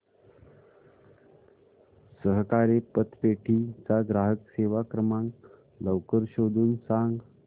सहकारी पतपेढी चा ग्राहक सेवा क्रमांक लवकर शोधून सांग